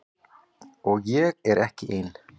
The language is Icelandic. Og ég er ekki ein.